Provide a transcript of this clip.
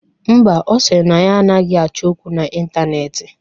Ḿbà, Ọ sịrị na ya anaghị achọ okwu na Ịntaneetị.